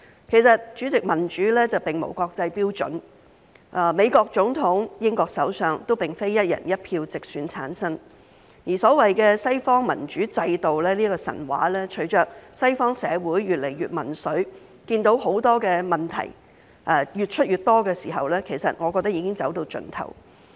其實，主席，民主並無國際標準，美國總統和英國首相都不是"一人一票"直選產生，而所謂的西方民主制度的神話隨着西方社會越來越民粹，看到問題越來越多的時候，其實我覺得已經走到盡頭。